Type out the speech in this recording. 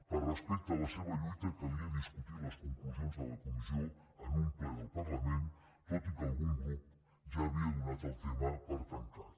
per respecte a la seva lluita calia discutir les conclusions de la comissió en un ple del parlament tot i que algun grup ja havia donat el tema per tancat